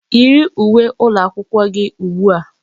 Yiri uwe ụlọakwụkwọ gị ugbu a!